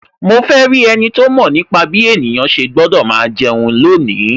Mo fe rí ẹniti ó mọ̀ nípa bí ènìyàn ṣe gbọ́dọ̀ máa jẹun lónìí